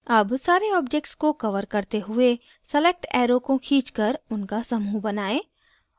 अब सारे objects को cover करते हुए select arrow को खींचकर उनका समूह बनाएं